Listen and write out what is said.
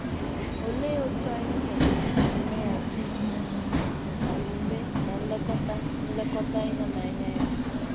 Olee otú anyị kwesịrị isi meghachi omume ná nlekọta nlekọta ịhụnanya ya?